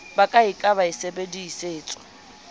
ba ka e ka sebedisetswa